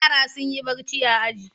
Yara sun yi barci a aji.